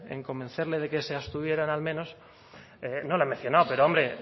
en convencerle de que se abstuvieran al menos no lo he mencionado pero hombre